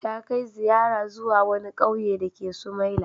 Ta kai ziyara zuwa wani ƙauye dake Sumaila.